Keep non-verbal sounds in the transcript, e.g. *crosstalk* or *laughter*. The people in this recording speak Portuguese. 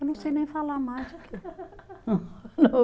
Eu não sei nem falar mais aqui. *laughs*